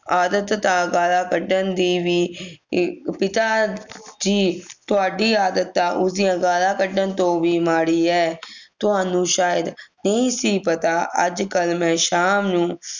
ਆਦਤ ਤਾਂ ਗਾਲਾਂ ਕੱਢਣ ਦੀ ਵੀ ਅਹ ਪਿਤਾਜੀ ਤੁਹਾਡੀ ਆਦਤ ਤਾਂ ਉਸ ਦੀਆਂ ਗਾਲਾਂ ਕੱਢਣ ਤੋਂ ਵੀ ਮਾੜੀ ਹੈ ਤੁਹਾਨੂੰ ਸ਼ਾਇਦ ਨਹੀਂ ਸੀ ਪਤਾ ਅੱਜਕਲ ਮੈਂ ਸ਼ਾਮ ਨੂੰ